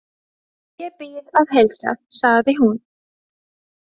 Ég bið að heilsa, sagði hún.